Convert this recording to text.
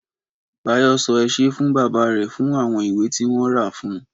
Báyọ̀ sọ ẹ ṣé fún bàbá rẹ̀ fún àwọn ìwé tí wọ́n rà fún un.